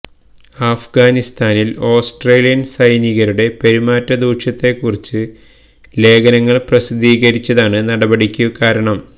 അഫ്ഗാനിസ്ഥാനിൽ ഓസ്ട്രേലിയൻ സൈനികരുടെ പെരുമാറ്റ ദൂഷ്യത്തെക്കുറിച്ച് ലേഖനങ്ങൾ പ്രസിദ്ധീകരിച്ചതാണ് നടപടിക്ക് കാരണം